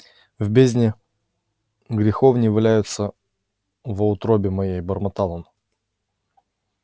в бездне греховней валяюся во утробе моей бормотал он